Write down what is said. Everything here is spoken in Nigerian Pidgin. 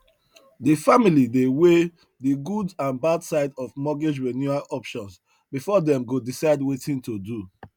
the family dey weigh the good and bad side of mortgage renewal options before them go decide wetin to do